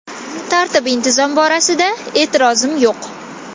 Tartib-intizom borasida e’tirozim yo‘q.